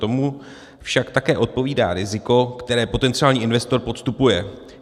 Tomu však také odpovídá riziko, které potenciální investor podstupuje.